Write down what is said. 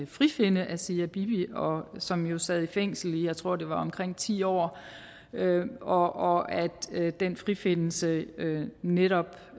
frifinde asia bibi som jo sad i fængsel jeg tror det var i omkring ti år år og at den frifindelse netop